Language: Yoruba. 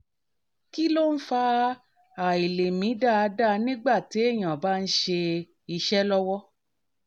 kí ló ń fa àìlè mí dáadáa nígbà téèyàn bá ń ṣe iṣẹ́ lọ́wọ́?